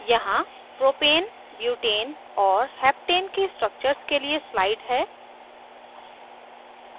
यहाँ propane butane और heptane के structures के लिए slide है